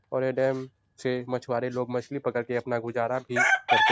और ये डेम से मछुवारे लोग मछली पकड़ के अपना गुजारा भी करते --